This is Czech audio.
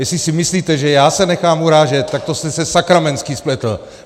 Jestli si myslíte, že já se nechám urážet, tak to jste se sakramentsky spletl!